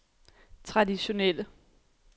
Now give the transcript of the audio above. traditionelle